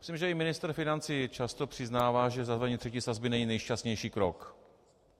Myslím, že i ministr financí často přiznává, že zavedení třetí sazby není nejšťastnější krok.